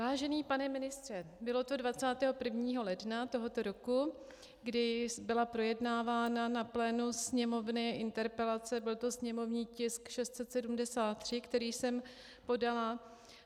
Vážený pane ministře, bylo to 21. ledna tohoto roku, kdy byla projednávána na plénu Sněmovny interpelace, byl to sněmovní tisk 673, který jsem podala.